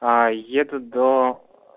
а еду до